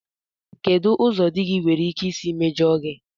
Kedụ ụzọ di gị nwere ike isi mejọọ gị?